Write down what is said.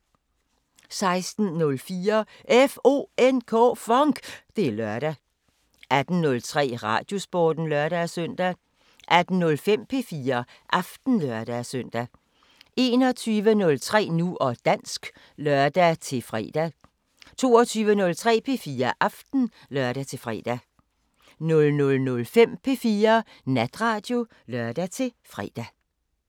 16:04: FONK! Det er lørdag 18:03: Radiosporten (lør-søn) 18:05: P4 Aften (lør-søn) 21:03: Nu og dansk (lør-fre) 22:03: P4 Aften (lør-fre) 00:05: P4 Natradio (lør-fre)